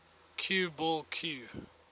cue ball cue